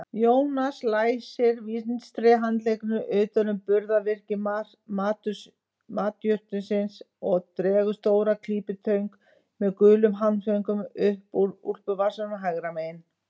Jónas læsir vinstri handleggnum utan um burðarvirki mastursins og dregur stóra klípitöng með gulum handföngum upp úr úlpuvasanum hægra megin.